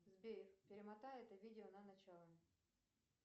сбер перемотай это видео на начало